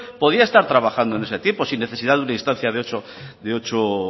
podía estar trabajando en ese tiempo sin necesidad de una instancia de ocho